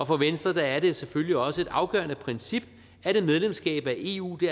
for venstre er det selvfølgelig også et afgørende princip at et medlemskab af eu